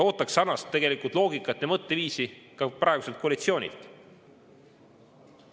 Ootaks sarnast loogikat ja mõtteviisi ka praeguselt koalitsioonilt.